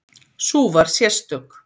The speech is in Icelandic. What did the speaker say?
Sú var sérstök.